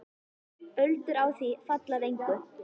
Öldur á því falla að engu.